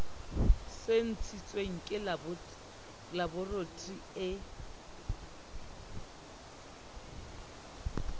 se ntshitsweng ke laboratori e